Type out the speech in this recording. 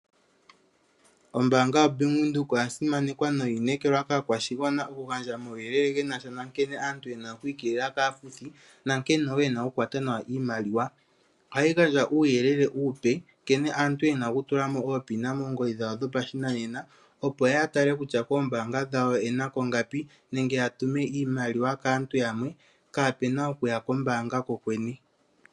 Ombaanga yaVenduka oya simaneka noyi inekelwa kaakwashigwana moku gandja omawuyelele genasha nonkene aantu yena oku ikeelela kaafuthi nonkene woo yena okukwata nawa iimaliwa. Ohayi gandja uuyelele uupe nkene aantu yena okutulamo uunomolo wawo uuhupi womeholamo moongodhi dhawo dhopashinanena opp yatale kutya koombaanga dhawo oyenalo ingapi nenge yatume iimaliwa kaantu yamwe kapena okuya kombaanga kokwene.